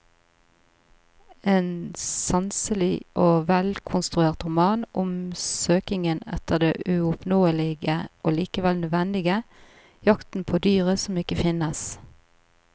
En sanselig og velkonstruert roman om søkingen etter det uoppnåelige og likevel nødvendige, jakten på dyret som ikke finnes.